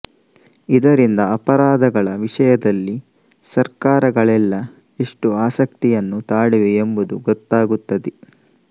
ಇದರಿಂದ ಅಪರಾಧಗಳ ವಿಷಯದಲ್ಲಿ ಸರ್ಕಾರಗಳೆಲ್ಲ ಎಷ್ಟು ಆಸಕ್ತಿಯನ್ನು ತಾಳಿವೆ ಎಂಬುದು ಗೊತ್ತಾಗುತ್ತದೆ